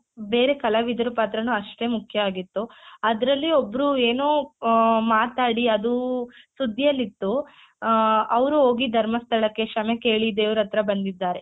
ಬೇರೆ ಕಲಾವಿದರ ಪಾತ್ರಾನು ಅಷ್ಟೇ ಮುಖ್ಯವಾಗಿತ್ತು ಅದ್ರಲ್ಲಿ ಒಬ್ರು ಏನೋ ಆ ಮಾತಾಡಿ ಅದು ಸುದ್ದಿಯಲ್ಲಿತ್ತು ಆ ಅವ್ರು ಹೋಗಿ ಧರ್ಮಸ್ಥಳಕ್ಕೆ ಕ್ಷಮೆ ಕೇಳಿ ದೇವ್ರತ್ರ ಬಂದಿದ್ದಾರೆ.